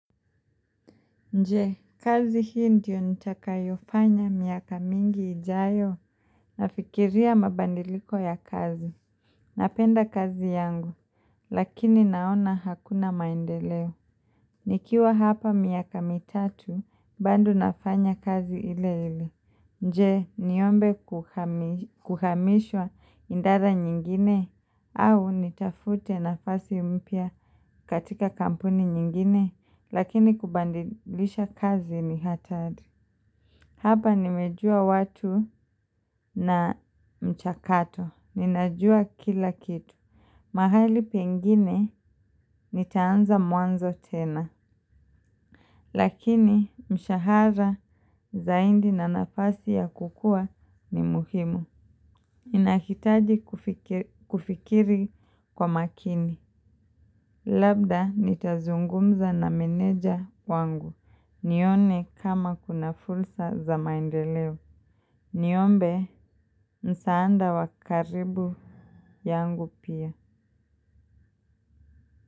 Je kazi hii ndio nitakayofanya miaka mingi ijayo nafikiria mabadiliko ya kazi. Napenda kazi yangu lakini naona hakuna maendeleo. Nikiwa hapa miaka mitatu bado nafanya kazi ile ile. Je niombe kuhamishwa idara nyingine au nitafute nafasi mpya katika kampuni nyingine lakini kubadilisha kazi ni hatari. Hapa nimejua watu na mchakato. Ninajua kila kitu. Mahali pengine nitaanza mwanzo tena lakini mshahara zaidi na nafasi ya kukua ni muhimu. Ninahitaji kufikiri kwa makini. Labda nitazungumza na meneja wangu. Nione kama kuna fursa za maendeleo. Niombe msaada wa karibu yangu pia.